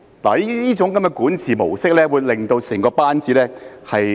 這種管治模式會令整個班子......